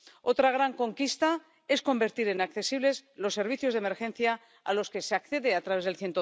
Otra gran conquista es convertir en accesibles los servicios de emergencia a los que se accede a través del